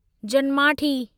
जन्माठि